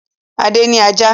Adé ní ajá.